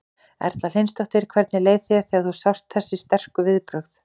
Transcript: Erla Hlynsdóttir: Hvernig leið þér þegar þú sást þessi sterku viðbrögð?